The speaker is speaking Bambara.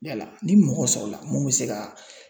Yala ni mɔgɔ sɔrɔla mun bɛ se ka